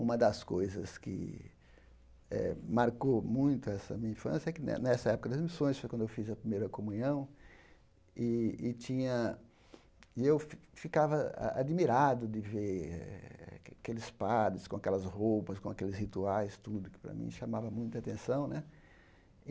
Uma das coisas que eh marcou muito essa minha infância é que, ne nessa época das missões, foi quando eu fiz a primeira comunhão, e e tinha e eu fi ficava a admirado de ver aqueles padres com aquelas roupas, com aqueles rituais, tudo que, para mim, chamava muita atenção né.